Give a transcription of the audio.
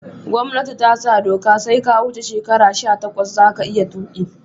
Gomnati tasa doka sai ka wuce shekara sha takwas zaka iya tuki